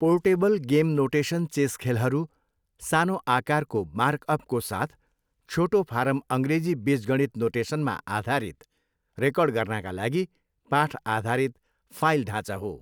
Portable game notation chess खेलहरू सानो आकारको मार्कअपको साथ छोटो फारम अङ्ग्रेजी बीजगणित नोटेसनमा आधारित, रेकर्ड गर्नाका लागि पाठ आधारित फाइल ढाँचा हो।